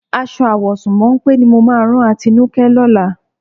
Aṣọ àwọ̀sùn mọ́ńpé ni mo máa rán Atinúkẹ́ lọ́la.